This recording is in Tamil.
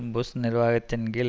புஷ் நிர்வாகத்தின் கீழ்